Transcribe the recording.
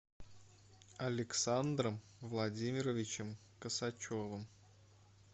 александром владимировичем косачевым